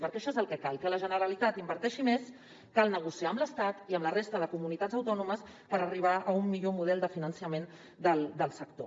perquè això és el que cal que la generalitat inverteixi més cal negociar amb l’estat i amb la resta de comunitats autònomes per arribar a un millor model de finançament del sector